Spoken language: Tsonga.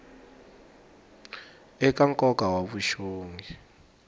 eka nkoka wa swa vuxongi